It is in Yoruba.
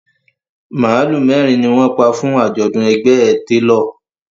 Màálù mẹ́rin ni wọ́n pa fún àjọ̀dún ẹgbẹ́ ẹ télọ̀